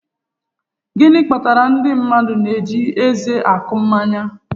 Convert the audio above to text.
Gịnị kpatara na ndị mmadụ na-eji eze akwụ mmanya?